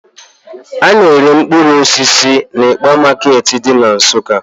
A na-ere mkpụrụ osisi n'ịkpa market dị na Nsukka.